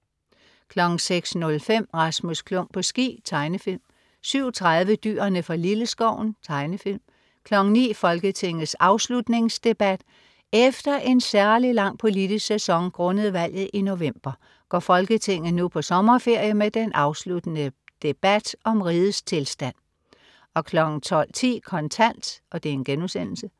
06.05 Rasmus Klump på ski. Tegnefilm 07.30 Dyrene fra Lilleskoven. Tegnefilm 09.00 Folketingets afslutningsdebat. Efter en særlig lang politisk sæson grundet valget i november går Folketinget nu på sommerferie med den afsluttende debat om rigets tilstand 12.10 Kontant*